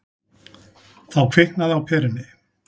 Þá kviknaði á perunni.